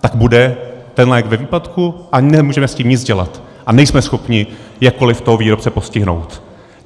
tak bude ten lék ve výpadku a nemůžeme s tím nic dělat a nejsme schopni jakkoliv toho výrobce postihnout.